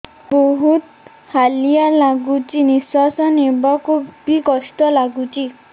ବହୁତ୍ ହାଲିଆ ଲାଗୁଚି ନିଃଶ୍ବାସ ନେବାକୁ ଵି କଷ୍ଟ ଲାଗୁଚି